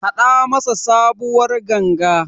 Haɗa masa sabuwar Ganga.